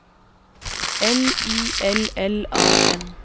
L I L L A N